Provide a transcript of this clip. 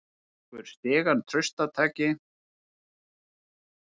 Tekur stigann traustataki.